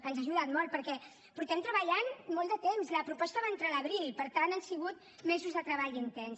ens ha ajudat molt perquè fa molt de temps que treballem la proposta va entrar a l’abril per tant han sigut mesos de treball intens